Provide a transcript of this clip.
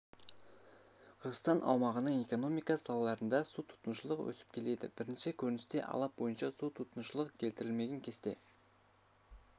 қырғызстан аумағының экономика салаларында су тұтынушылық өсіп келеді бірінші көріністе алап бойынша су тұтынушылық келтірілмеген кесте